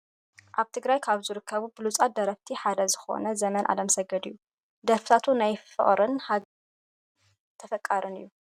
ኣብ ትግራይ ካብ ዝርከቡ ብሉፃት ደረፍቲ ሓደ ዝኮነ ዘመን ኣለምሰገድ እዩ። ደርፍታቱ ናይ ፍቅርን ሃገርን ብህዝቢ ብጣዕሚ ተፈታውን ተፈቃርን እዩ።